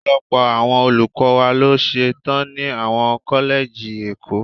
Ọ̀pọ̀lọpọ̀ àwọn olùkọ́ wa ló ṣe tán ni àwọn kọ́lẹ́jì ẹ̀kọ́.